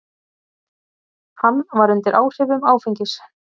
Hann var undir áhrifum áfengis.